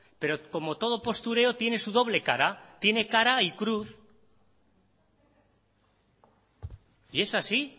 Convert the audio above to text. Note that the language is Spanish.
pero como todo postureo tiene su doble cara tiene cara y cruz y es así